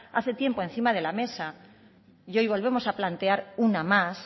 hace tiempo encima de la mesa y hoy volvemos a plantear una más